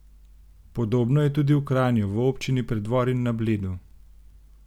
Podobno je tudi v Kranju, v občini Preddvor in na Bledu.